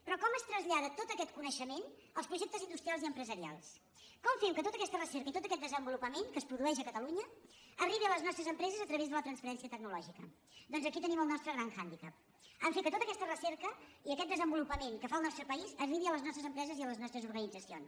però com es trasllada tot aquest coneixement als projectes in·dustrials i empresarials com fem que tota aquesta recerca i tot aquest desenvolupament que es produeix a catalunya arribin a les nostres empreses a través de la transferència tecnològica doncs aquí tenim el nostre gran handicapaquest desenvolupament que fa el nostre país arribin a les nostres empreses i a les nostres organitzacions